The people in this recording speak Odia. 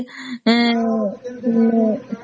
ହମ୍